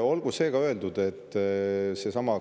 Olgu see ka öeldud, et